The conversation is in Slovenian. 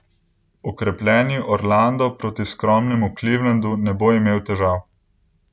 Okrepljeni Orlando proti skromnemu Clevelandu ne bo imel težav.